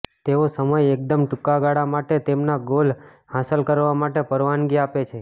તેઓ સમય એકદમ ટૂંકા ગાળા માટે તેમના ગોલ હાંસલ કરવા માટે પરવાનગી આપે છે